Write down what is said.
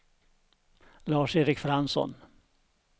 Lars-Erik Fransson